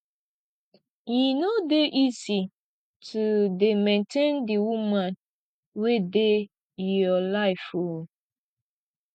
e no dey easy to dey maintain di woman wey dey your life o